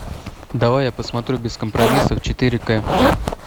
давай я посмотрю без компромиссов четыре кэ